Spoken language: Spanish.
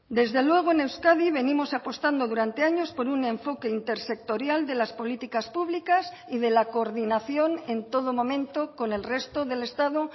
desde luego en euskadi venimos apostando durante años por un enfoque intersectorial de las políticas públicas y de la coordinación en todo momento con el resto del estado